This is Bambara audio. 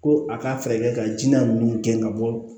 Ko a ka fɛɛrɛ ka ji la ninnu gɛn ka bɔ